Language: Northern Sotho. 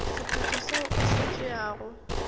sephetho seo o se tšeago